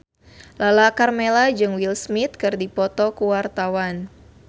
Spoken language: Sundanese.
Lala Karmela jeung Will Smith keur dipoto ku wartawan